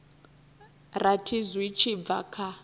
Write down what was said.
rathi zwi tshi bva kha